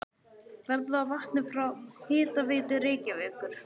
Verð á vatni frá Hitaveitu Reykjavíkur